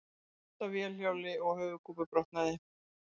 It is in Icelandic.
Datt af vélhjóli og höfuðkúpubrotnaði